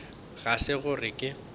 ga se gore ge ke